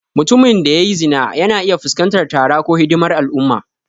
Mutumin da ya yi zina yana iya fuskantar tara ko hidimar al'umma.